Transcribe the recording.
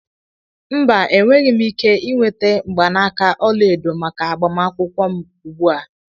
Mba, enweghị m ike ị nweta mgbanaka ọla edo maka agbamakwụkwọ m ugbu a.